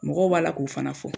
Mɔgɔ b'a la k'u fana fɔ.